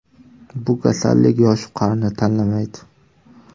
Bu kasallik yosh-u qarini tanlamaydi.